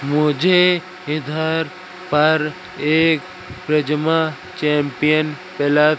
मुझे इधर पर एक प्रिजमा चेम्पियन पे लग--